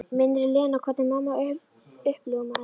Minnir Lenu á hvernig mamma uppljómaðist.